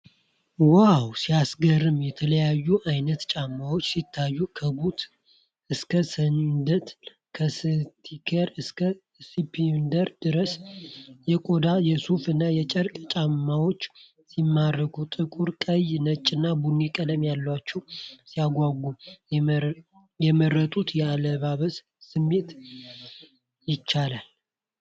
ዋው ሲያስገርም! የተለያየ ዓይነት ጫማዎች ሲያዩ! ከቡት እስከ ሰንደል፣ ከስኒከር እስከ ስሊፐር ድረስ። የቆዳ፣ የሱፍ እና የጨርቅ ጫማዎች ሲማርኩ! ጥቁር፣ ቀይ፣ ነጭና ቡኒ ቀለሞች ያሏቸው። ሲያጓጉ! የመረጡት አለባበስ ሊሟላ ይችላል።